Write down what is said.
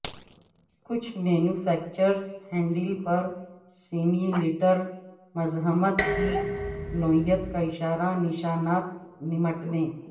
کچھ manufacturers handle پر simulator مزاحمت کی نوعیت کا اشارہ نشانات نمٹنے